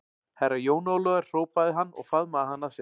Herra Jón Ólafur hrópaði hann og faðmaði hann að sér.